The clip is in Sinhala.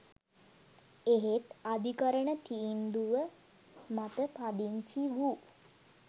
එහෙත් අධිකරණ තීන්දුව මත පදිංචි වූ